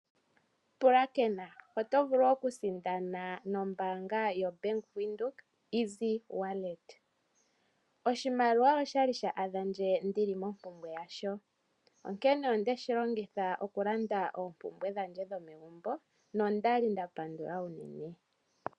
Pulakena, oto vulu oku sindana no mbaanga yo Bank Windhoek izi wallet. Oshimaliwa osha li sha adha ndje ndi li mompumbwe yasho. Onkene onde shi longitha oku landa oompumbwe dhandje dhomegumbo, nonda li nda pandula unene.